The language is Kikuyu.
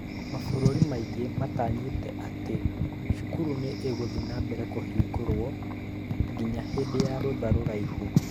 Mabũrũri maingĩ matanyĩte atĩ cukuru nĩ igũthiĩ na mbere kũhingwo nginya hĩndĩ ya rotha rũraihu.